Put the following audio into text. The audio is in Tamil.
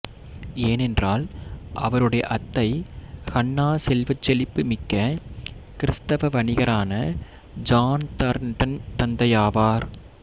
ஏனென்றால் அவருடைய அத்தை ஹன்னா செல்வச் செழிப்பு மிக்க கிறிஸ்தவ வணிகரான ஜான் தார்ன்டன்ன் தந்தையாவார்